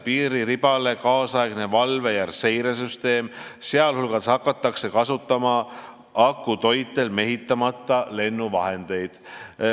Piiriribale rajatakse nüüdisaegne valve- ja seiresüsteem, sh hakatakse kasutama akutoitel mehitamata lennuvahendeid.